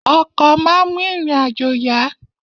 Ọkọ̀ máa ń mú ìrìn-àjò yá.